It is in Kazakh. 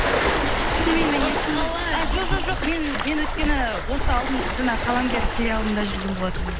шынымен менің есімнен қалай а жоқ жоқ жоқ мен мен өйткені осы алдын жаңағы қаламгер сериалында жүрген болатынмын